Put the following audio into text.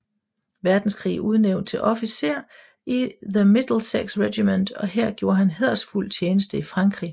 Verdenskrig udnævnt til officer i The Middlesex Regiment og her gjorde han hæderfuld tjeneste i Frankrig